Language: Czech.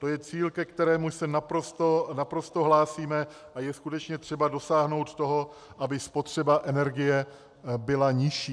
To je cíl, ke kterému se naprosto hlásíme, a je skutečně třeba dosáhnout toho, aby spotřeba energie byla nižší.